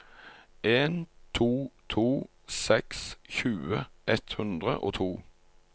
en to to seks tjue ett hundre og to